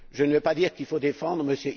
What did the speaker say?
Je ne veux pas dire qu'il faut défendre M.